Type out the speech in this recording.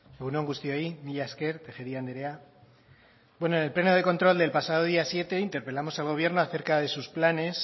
egun on guztiori mila esker tejeria andrea bueno en el pleno de control del pasado día siete interpelamos al gobierno a cerca de sus planes